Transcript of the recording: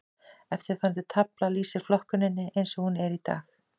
Eftirfarandi tafla lýsir flokkuninni eins og hún er í dag.